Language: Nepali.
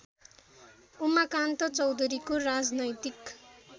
उमाकान्त चौधरीको राजनैतिक